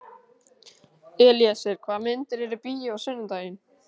Elíeser, hvaða myndir eru í bíó á sunnudaginn?